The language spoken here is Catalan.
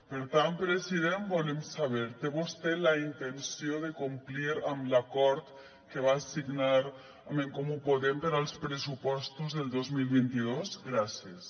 per tant president volem saber té vostè la intenció de complir amb l’acord que va signar amb en comú podem per als pressupostos del dos mil vint dos gràcies